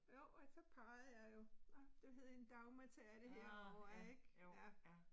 Jo, og så pegede jeg jo, nåh, det hed en Dagmartærte herovre ik ja